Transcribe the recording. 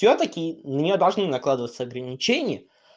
всё-таки на нее должны накладываться ограничения